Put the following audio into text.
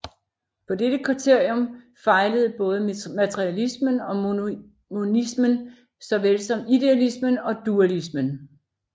På dette kriterium fejlede både materialismen og monismen såvel som idealismen og dualismen